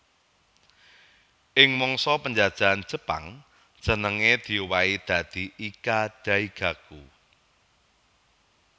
Ing mangsa penjajahan Jepang jenengé diowahi dadi Ika Daigaku